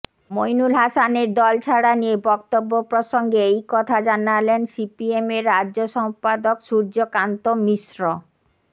মইনুল হাসানের দল ছাড়া নিয়ে বক্তব্য প্রসঙ্গে এই কথা জানালেন সিপিএমের রাজ্য সম্পাদক সূর্যকান্ত মিশ্র